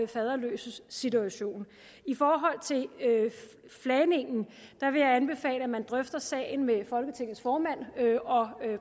faderløses situation i forhold til flagningen vil jeg anbefale at man drøfter sagen med folketingets formand og